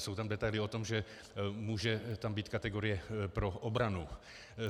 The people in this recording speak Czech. Jsou tam detaily o tom, že tam může být kategorie pro obranu.